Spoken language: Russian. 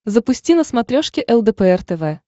запусти на смотрешке лдпр тв